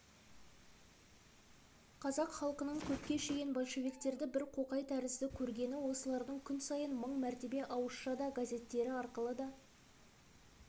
қазақ халқының көпке шейін большевиктерді бір қоқай тәрізді көргені осылардың күн сайын мың мәртебе ауызша да газеттері арқылы